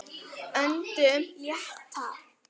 Öndum léttar.